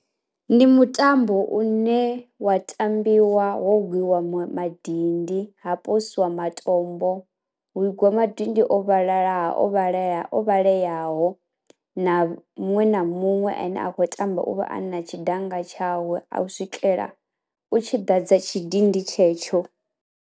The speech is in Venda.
Ndi mutambo une wa tambiwa ho gwiwa mu madindi ha posiwa matombo, hu gwa madindi o vhalala ha o vhalele oweleaho, na muṅwe na muṅwe ane a kho tamba u vha ana tshi danga tshawe a u swikela u tshiḓa dza tshi dindi tshetsho.